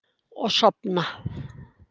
Og sofna.